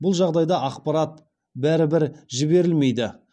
бұл жағдайда ақпарат бәрібір жіберілмейді